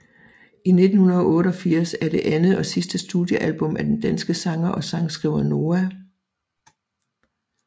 1988 er det andet og sidste studiealbum af den danske sanger og sangskriver Noah